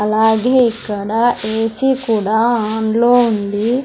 అలాగే ఇక్కడ A C కూడా ఆన్ లో ఉంది.